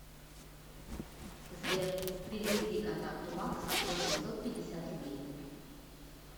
сбер переведи контакту макс восемьсот пятьдесят рублей